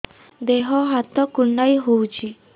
ଦେହ ହାତ କୁଣ୍ଡାଇ ହଉଛି